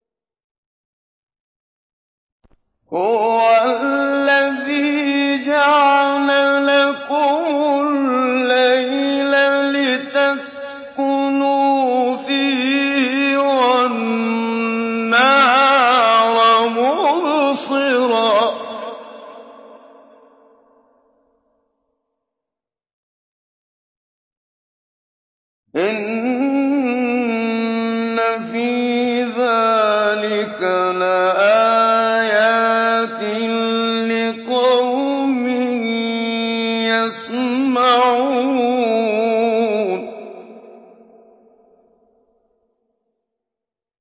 هُوَ الَّذِي جَعَلَ لَكُمُ اللَّيْلَ لِتَسْكُنُوا فِيهِ وَالنَّهَارَ مُبْصِرًا ۚ إِنَّ فِي ذَٰلِكَ لَآيَاتٍ لِّقَوْمٍ يَسْمَعُونَ